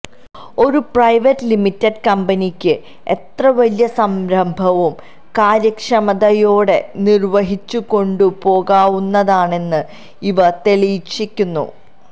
ഒരു private limited കമ്പനിയ്ക്ക് എത്രവലിയ സംരഭവും കാര്യക്ഷമതയോടെ നിര്വഹിച്ചുകൊണ്ടുപോകാവുന്നതാണെന്ന് ഇവ തെളിയിച്ചിരിയ്ക്കുന്നു